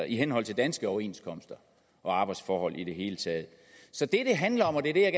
i henhold til danske overenskomster og arbejdsforhold i det hele taget så det det handler om og det er det jeg